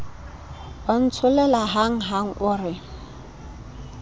wa ntsholela hanghang o re